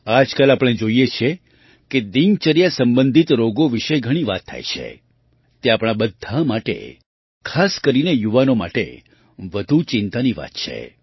આજકાલ આપણે જોઈએ છીએ કે દિનચર્યા સંબંધિત રોગો વિશે ઘણી વાત થાય છે તે આપણા બધાં માટે ખાસ કરીને યુવાનો માટે વધુ ચિંતાની વાત છે